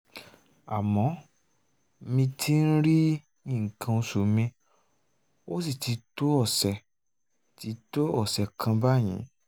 àmọ́ mi ò tíì rí nǹkan oṣù mi ó sì ti tó ọ̀sẹ̀ ti tó ọ̀sẹ̀ kan báyìí